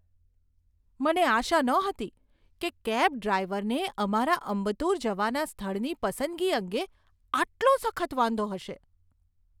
મને આશા નહોતી કે કેબ ડ્રાઈવરને અમારા અંબત્તુર જવાના સ્થળની પસંદગી અંગે આટલો સખત વાંધો હશે.